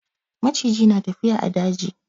Maciji na tafiya a daji.